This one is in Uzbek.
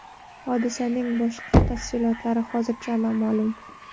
Hodisaning boshqa tafsilotlari hozircha noma’lum.